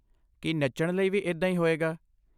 ਕੀ ਨੱਚਣ ਲਈ ਵੀ ਇੱਦਾਂ ਹੀ ਹੋਏਗਾ?